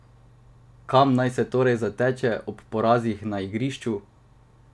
Kam naj se torej zateče ob porazih na igrišču?